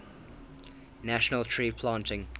national tree planting